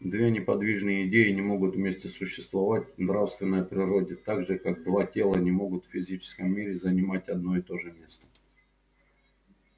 две неподвижные идеи не могут вместе существовать в нравственной природе так же как два тела не могут в физическом мире занимать одно и то же место